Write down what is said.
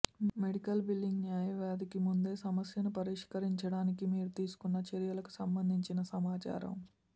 medical billing న్యాయవాదికి ముందే సమస్యను పరిష్కరించడానికి మీరు తీసుకున్న చర్యలకు సంబంధించిన సమాచారం